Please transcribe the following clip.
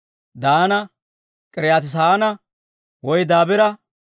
Daana, K'iriyaati-Saanaa woy Dabiira,